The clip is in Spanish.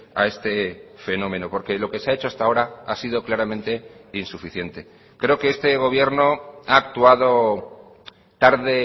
a este fenómeno porque lo que se ha hecho hasta ahora ha sido claramente insuficiente creo que este gobierno ha actuado tarde